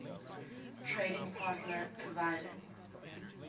trading partner providing